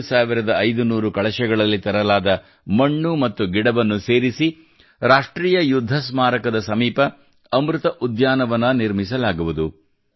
7500 ಕಳಶಗಳಲ್ಲಿ ತರಲಾದ ಮಣ್ಣು ಮತ್ತು ಗಿಡವನ್ನು ಸೇರಿಸಿ ರಾಷ್ಟ್ರೀಯ ಯುದ್ಧ ಸ್ಮಾರಕದ ಸಮೀಪ ಅಮೃತ ಉದ್ಯಾನವನ ನಿರ್ಮಿಸಲಾಗುವುದು